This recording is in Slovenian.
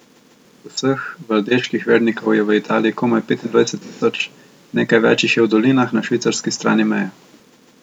Vseh valdeških vernikov je v Italiji komaj petindvajset tisoč, nekaj več jih je v dolinah na švicarski strani meje.